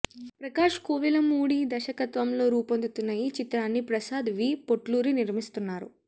ప్రకాష్ కోవెలమూడి దర్శకత్వంలో రూపొందుతున్న ఈ చిత్రాన్ని ప్రసాద్ వి పొట్లూరి నిర్మిస్తున్నారు